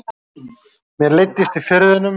Mér leiddist í Firðinum.